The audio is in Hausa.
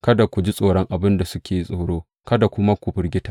Kada ku ji tsoron abin da suke tsoro; kada kuma ku firgita.